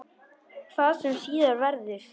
Hvað sem síðar verður.